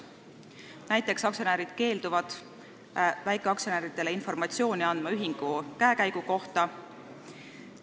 Näiteks keelduvad aktsionärid väikeaktsionäridele andmast informatsiooni ühingu käekäigu kohta.